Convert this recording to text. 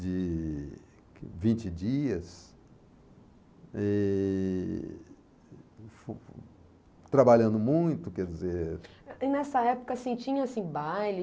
de vinte dias, e... trabalhando muito, quer dizer... E nessa época, assim, tinha, assim, baile?